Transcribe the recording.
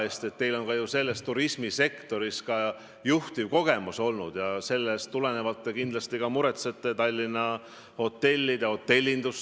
Ja nüüd ma tsiteerin: "Kujutame ette emotsionaalselt ülesköetud isikut, kes valetab pidevalt ja süüdistab valetamises teisi, kes solvab teisi, aga süüdistab neid selles, et teda solvatakse, kes ähvardab teisi, aga arvab, et hoopis teda ähvardatakse.